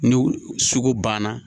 Ni sugu banna